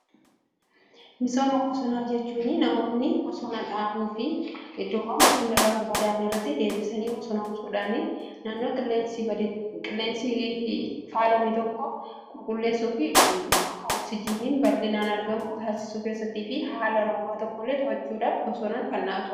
misooma bosonaa jechuun namoonni bosona dhaabuu fi iddoo bosonni irraa barbadaa'e irratti deebisanii bosonoomsuudhaan naannoo qilleensi faalame tokko qulqulleessuufi akka ooksijiiniin bal'inaan argamu taasisuu keessattii fi haala roobaa to'achuudhaaf bosonni barbaachisaadha.